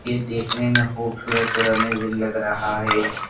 ये देखने में खूबसूरत और अमेजिंग लग रहा है।